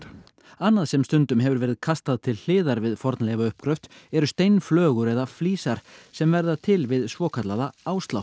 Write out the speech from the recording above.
annað sem stundum hefur verið kastað til hliðar við fornleifauppgröft eru steinflögur eða flísar sem verða til við svokallaða